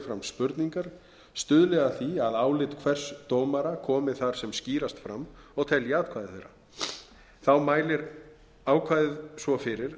spurningar stuðli að því að álit hvers dómara komi þar sem skýrast fram og telji atkvæði þeirra þá mælir ákvæðið svo fyrir